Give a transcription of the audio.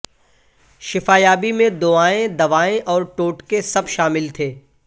شفا یابی میں دعایئں دوایئں اور ٹوٹکے سب شامل تھے